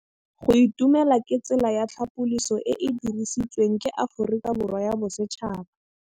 Go itumela ke tsela ya tlhapolisô e e dirisitsweng ke Aforika Borwa ya Bosetšhaba.